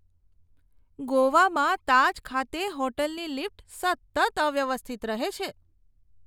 ગોવામાં તાજ ખાતે હોટલની લિફ્ટ સતત અવ્યવસ્થિત રહે છે.